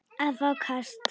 að fá kast